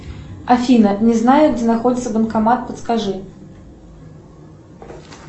афина не знаю где находится банкомат подскажи